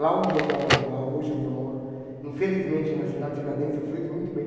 Lá onde eu moro, lá hoje onde eu moro, infelizmente, na cidade de Tiradentes, eu fiz muito bem.